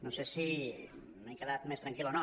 no sé si m’he quedat més tranquil o no